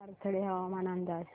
पाथर्डी हवामान अंदाज